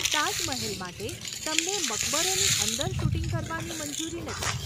તાજમહેલ માટે, તમને મકબરોની અંદર શૂટિંગ કરવાની મંજૂરી નથી.